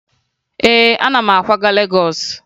Ee, ana m akwaga Legọọsụ